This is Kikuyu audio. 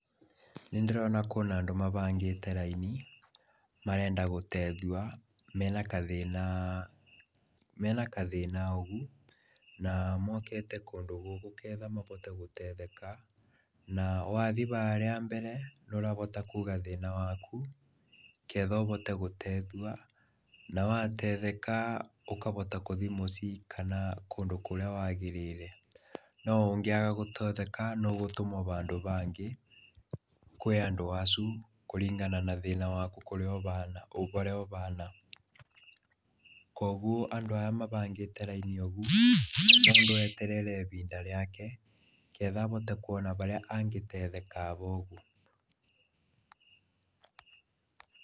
Nĩndĩrona kũna andũ mahangĩte raini marenda gũteithua mena gathĩna ũgũ, na mokĩte kũndũ gũkũ nĩgetha mahote gũtetheka na wathi harĩa mbere nĩũrahota kuuga thĩna waku nĩgetha ũhote gũtethua na watetheka ũkahota gũthii mũcii kana kũndũ kũrĩa wagĩrĩre, noũngĩaga gũtetheka noũtũmwe handũ hangĩ kwĩ andũ acukũringana na thĩna waku ũrĩa ũhana, kwoguo andũ arĩa mahangĩte raini ũgũ, mũndũ eterere ĩhinda rĩake nĩgetha ahote kũona harĩa angĩtetheka haha ũgu.